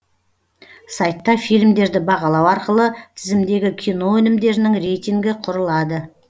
сайтта фильмдерді бағалау арқылы тізімдегі кино өнімдерінің рейтингі құрылады